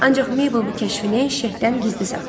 Ancaq Mabel bu kəşfini Şeyxdən gizli saxladı.